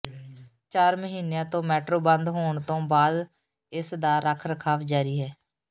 ਚਾਰ ਮਹੀਨਿਆਂ ਤੋਂ ਮੈਟਰੋ ਬੰਦ ਹੋਣ ਤੋਂ ਬਾਅਦ ਇਸ ਦਾ ਰੱਖ ਰਖਾਵ ਜਾਰੀ ਹੈ